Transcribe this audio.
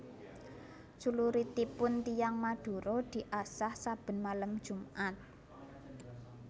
Cluritipun tiyang Madura diasah saben malem jumat